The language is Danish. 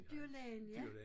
Dyrlægen ja